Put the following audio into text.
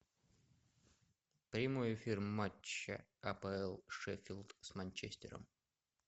прямой эфир матча апл шеффилд с манчестером